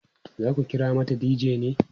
zaku kira mata dj ne?